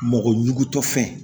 Mɔgɔ ɲugutɔ fɛn